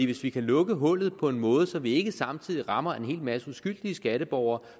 hvis vi kan lukke hullet på en måde så vi ikke samtidig rammer en hel masse uskyldige skatteborgere